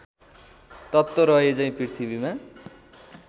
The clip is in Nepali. तत्त्व रहेझैँ पृथ्वीमा